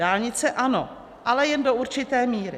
Dálnice ano, ale jen do určité míry.